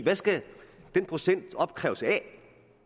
skal den procent opkræves af